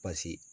Pasi